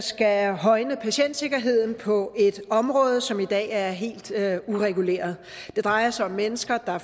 skal højne patientsikkerheden på et område som i dag er helt ureguleret det drejer sig om mennesker der